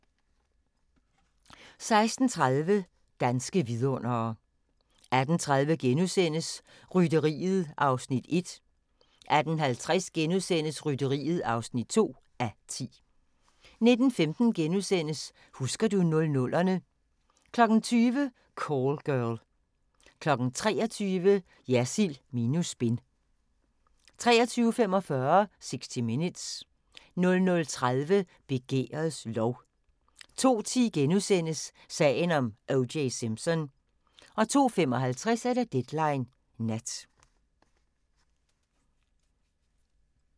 16:30: Danske vidundere 18:30: Rytteriet (1:10)* 18:50: Rytteriet (2:10)* 19:15: Husker du 00'erne * 20:00: Call Girl 23:00: Jersild minus spin 23:45: 60 Minutes 00:30: Begærets lov 02:10: Sagen om O.J. Simpson * 02:55: Deadline Nat